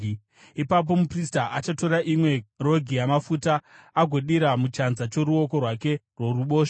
Ipapo muprista achatora imwe rogi yamafuta agodira muchanza choruoko rwake rworuboshwe,